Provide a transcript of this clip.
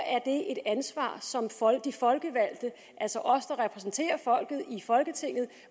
det ansvar som de folkevalgte altså os der repræsenterer folket i folketinget